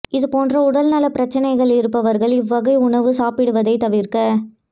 இதுபோன்ற உடல்நல பிரச்னைகள் இருப்பவர்கள் இவ்வகை உணவு சாப்பிடுவதைத் தவிர்க்க